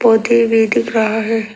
पौधे भी दिख रहा है।